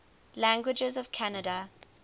languages of canada